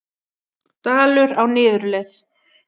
Dalur á niðurleið